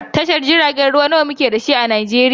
Tashar jiragen ruwa nawa muke da su a Najeriya?